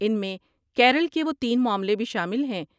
ان میں کیرل کے وہ تین معاملے بھی شامل ہیں ۔